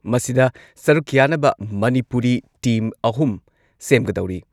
ꯃꯁꯤꯗ ꯁꯔꯨꯛ ꯌꯥꯅꯕ ꯃꯅꯤꯄꯨꯔꯤ ꯇꯤꯝ ꯑꯍꯨꯝ ꯁꯦꯝꯒꯗꯧꯔꯤ꯫